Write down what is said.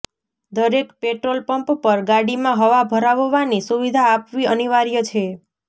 દરેક petrol pump પર ગાડીમાં હવા ભરાવવાની સુવિધા આપવી અનિવાર્ય છે